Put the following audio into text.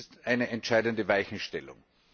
Das ist eine entscheidende Weichenstellung.